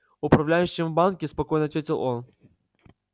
управляющим в банке спокойно ответил он